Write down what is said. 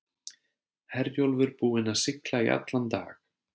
Herjólfur búinn að sigla í allan dag.